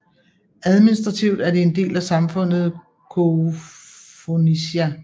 Administrativt er det en del af samfundet Koufonisia